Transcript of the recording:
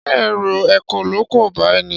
Ṣé ẹ̀rù ekòló kò bá ẹ ní?